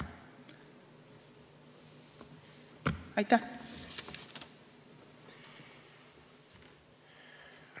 Aitäh!